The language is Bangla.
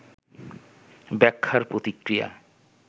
ব্যাখ্যার প্রতিক্রিয়া